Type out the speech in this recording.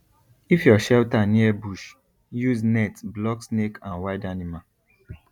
if your shelter near bush use net block snake and wild animal